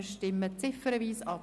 Wir stimmen ziffernweise ab.